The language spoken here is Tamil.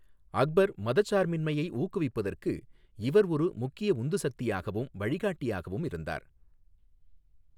அக்பர் மதச்சார்பின்மையை ஊக்குவிப்பதற்கு இவர் ஒரு முக்கிய உந்து சக்தியாகவும், வழிகாட்டியாகவும் இருந்தார்.